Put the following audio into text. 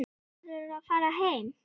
Verður að fara heim.